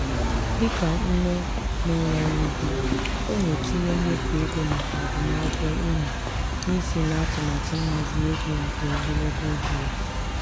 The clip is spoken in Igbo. dịka nne na-enweghi di ọ na-etinye mmefu ego maka agụmakwụkwọ ụmụ n'isi n'atụmatụ nhazi ego nke ogologo oge ya.